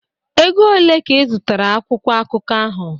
Ego ole ka izụtara akwụkwọ akụkọ ahụ?